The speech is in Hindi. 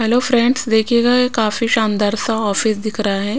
हेलो फ्रेंड्स देखिएगा ये काफी शानदार सा ऑफिस दिख रहा है।